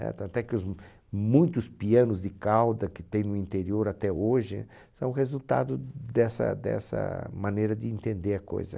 Tanto é que os m, muitos pianos de cauda que tem no interior até hoje são resultado dessa dessa maneira de entender a coisa.